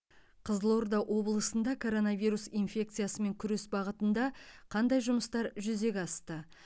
қызылорда облысында коронавирус инфекциясымен күрес бағытында қандай жұмыстар жүзеге асты